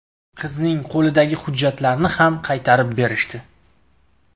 Qizning qo‘lidagi hujjatlarni ham qaytarib berishdi.